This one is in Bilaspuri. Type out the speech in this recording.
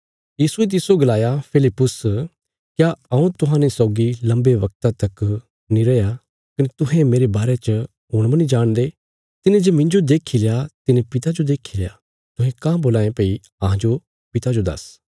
यीशुये तिस्सो गलाया फिलिप्पुस क्या हऊँ तुहांजो सौगी लम्बे वगता तक नीं रया कने तुहें मेरे बारे च हुण मनी जाणदे तिने जे मिन्जो देखील्या तिने पिता जो देखील्या तुहें काँह बोलां ये भई अहांजो पिता जो दस